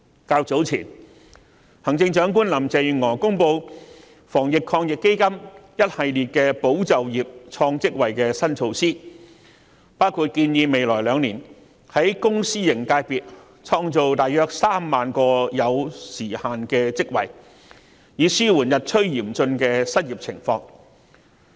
較早前，行政長官林鄭月娥公布防疫抗疫基金一系列"保就業、創職位"的新措施，包括建議未來兩年在公私營界別創造約3萬個有時限職位，以紓緩日趨嚴峻的失業情況。